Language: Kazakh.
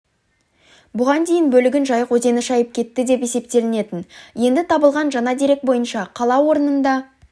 бұған дейін бөлігін жайық өзені шайып кетті деп есептелетін енді табылған жаңа дерек бойынша қала орнында